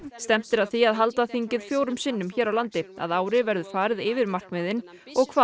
stefnt er að því að halda þingið fjórum sinnum hér á landi að ári verður farið yfir markmiðin og hvað